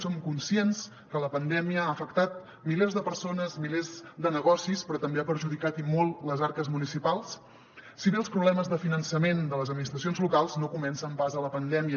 som conscients que la pandèmia ha afectat milers de persones milers de negocis però també ha perjudicat i molt les arques municipals si bé els problemes de finançament de les administracions locals no comencen pas a la pandèmia